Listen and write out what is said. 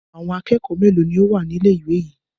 Àwọn akẹ́kọ̀ọ́ mélòó ni ó wà ní ilé-ìwé yìí?